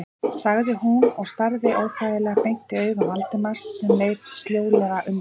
sagði hún og starði óþægilega beint í augu Valdimars sem leit sljólega undan.